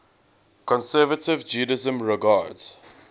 conservative judaism regards